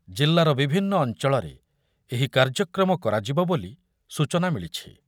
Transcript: ଜିଲ୍ଲାର ବିଭିନ୍ନ ଅଞ୍ଚଳରେ ଏହି କାର୍ଯ୍ୟକ୍ରମ କରାଯିବ ବୋଲି ସୂଚନା ମିଳିଛି।